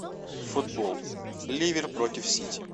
футбол ливер против сити